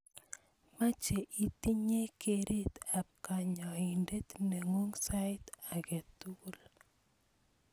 Meche itinyei keret ab kanyoindet neng'ung sait age tugul.